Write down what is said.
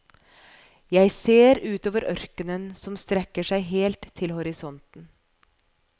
Jeg ser utover ørkenen som strekker seg helt til horisonten.